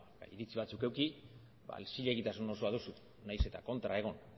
hitz batzuk eduki zilegitasun osoa duzu nahiz eta kontra egon